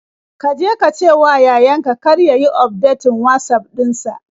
Ka je ka cewa yayan ka kar ya yi ufdetin Watsaf ɗin sa.